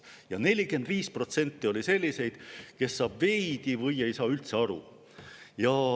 Ja 45% oli selliseid, kes saavad veidi või ei saa üldse aru.